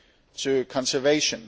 to conservation.